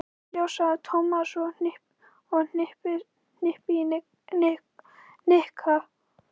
Kemur í ljós, sagði Tómas og hnippti í Nikka.